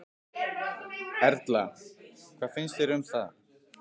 Erla: Hvað finnst þér um það?